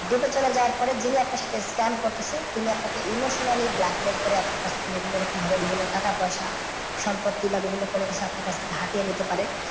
date এ চলে যাওয়ার পরে যিনি আপনার সাথে scam করতেছে তিনি আপনাকে emotionally blackmail করে আপনার কাছ থেকে এগুলো এরকম ভাবে বিভিন্ন টাকা পয়সা সম্পত্তি বা বিভিন্ন কিছু আপনার কাছ থেকে হাতিয়ে নিতে পারে।